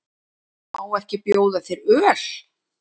Má ekki bjóða þér öl?